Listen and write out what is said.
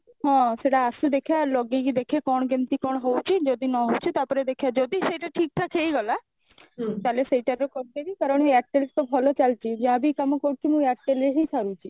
ହଁ ସେଟା ଆସୁ ଦେଖିବା ଲଗେଇକି ଦେଖେ କଣ କେମିତି କଣ ହଉଛି ଯଦି ନ ହଉଛି ତାପରେ ଦେଖିବା ଯଦି ସେଇଟା ଠିକ ଠାକ ହେଇଗଲା ତାହେଲେ ସେଇଟା ଏବେ କରିଦେବି କାରଣ airtel ତ ଭଲ ଚାଲିଛି ଯାହାବି କାମ କରୁଛି ମୁଁ airtel ରେ ହିଁ ସାରୁଛି